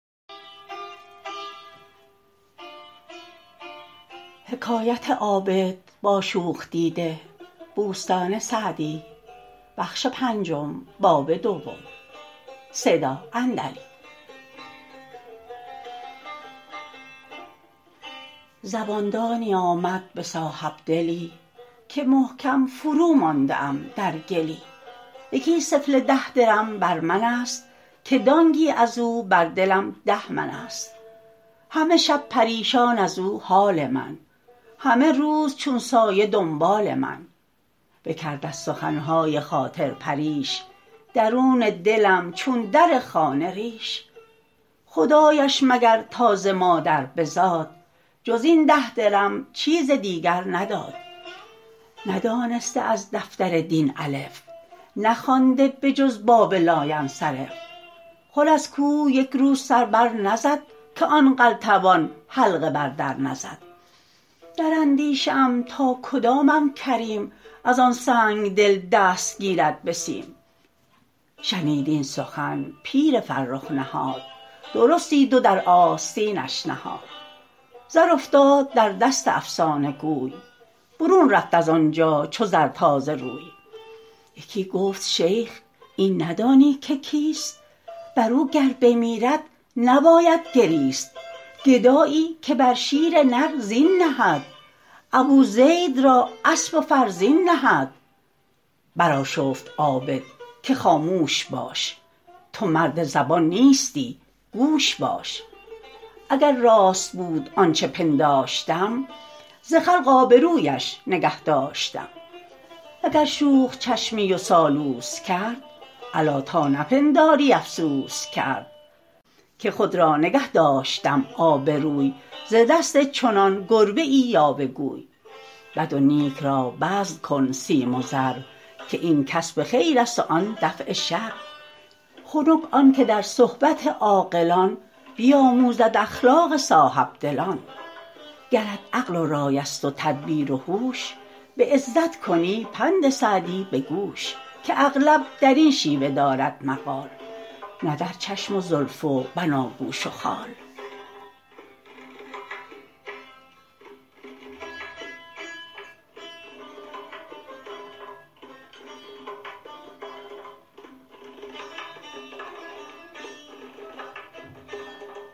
زبان دانی آمد به صاحبدلی که محکم فرومانده ام در گلی یکی سفله را ده درم بر من است که دانگی از او بر دلم ده من است همه شب پریشان از او حال من همه روز چون سایه دنبال من بکرد از سخن های خاطر پریش درون دلم چون در خانه ریش خدایش مگر تا ز مادر بزاد جز این ده درم چیز دیگر نداد ندانسته از دفتر دین الف نخوانده به جز باب لاینصرف خور از کوه یک روز سر بر نزد که آن قلتبان حلقه بر در نزد در اندیشه ام تا کدامم کریم از آن سنگدل دست گیرد به سیم شنید این سخن پیر فرخ نهاد درستی دو در آستینش نهاد زر افتاد در دست افسانه گوی برون رفت از آنجا چو زر تازه روی یکی گفت شیخ این ندانی که کیست بر او گر بمیرد نباید گریست گدایی که بر شیر نر زین نهد ابو زید را اسب و فرزین نهد بر آشفت عابد که خاموش باش تو مرد زبان نیستی گوش باش اگر راست بود آنچه پنداشتم ز خلق آبرویش نگه داشتم وگر شوخ چشمی و سالوس کرد الا تا نپنداری افسوس کرد که خود را نگه داشتم آبروی ز دست چنان گربزی یاوه گوی بد و نیک را بذل کن سیم و زر که این کسب خیر است و آن دفع شر خنک آن که در صحبت عاقلان بیاموزد اخلاق صاحبدلان گرت عقل و رای است و تدبیر و هوش به عزت کنی پند سعدی به گوش که اغلب در این شیوه دارد مقال نه در چشم و زلف و بناگوش و خال